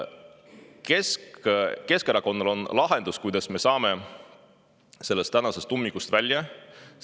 Keskerakonnal on lahendus, kuidas me sellest ummikust välja saame.